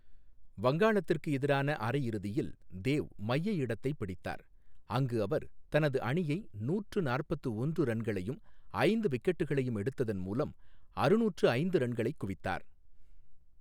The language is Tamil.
வங்காளத்திற்கு எதிரான அரையிறுதியில், தேவ் மைய இடத்தை பிடித்தார், அங்கு அவர் தனது அணியை நூற்று நாற்பத்து ஒன்று ரன்ளையும் ஐந்து விக்கெட்டுகளையும் எடுத்ததன் மூலம் அறுநூற்று ஐந்து ரன்களை குவித்தார்.